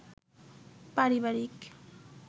পারিবারিক